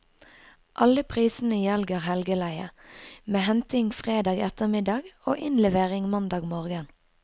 Alle prisene gjelder helgeleie, med henting fredag ettermiddag og innlevering mandag morgen.